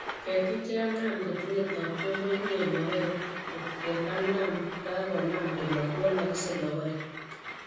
Ketik chekanam kotinye taptok komyie logoek kocon kanam kokanam kolok kowolkose logoek